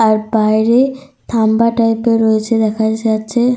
আর বাইরে থাম্বা টাইপ -এর রয়েছে দেখা যাচ্ছে।